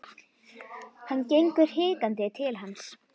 Hann gengur hikandi til hans.